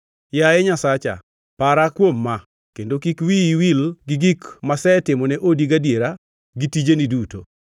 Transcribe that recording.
Yaye Nyasacha, para kuom ma kendo kik wiyi wil gi gik masetimone odi gadiera gi tijeni duto.